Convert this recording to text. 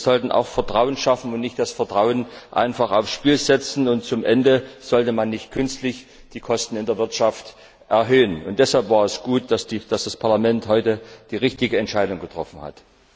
Wir sollten auch Vertrauen schaffen und nicht das Vertrauen einfach aufs Spiel setzen, und schließlich sollte man nicht künstlich die Kosten in der Wirtschaft erhöhen. Deshalb war es gut, dass das Parlament heute die richtige Entscheidung getroffen hat.